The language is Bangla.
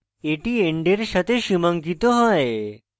এটি end এর সাথে সীমাঙ্কিত হয়